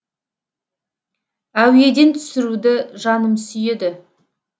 әуеден түсіруді жаным сүйеді